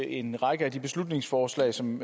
en række af de beslutningsforslag som